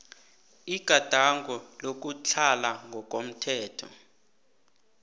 igadango lokutlhala ngokomthetho